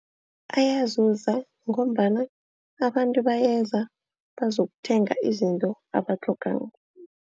Ayazuza ngombana abantu bayenze bazokuthenga izinto abazitlhogako.